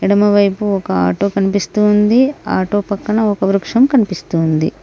ఎడమ వైపు ఒక ఆటో కనిపిస్తూ ఉంది ఆటో పక్కన ఒక వృక్షం కనిపిస్తూ ఉంది.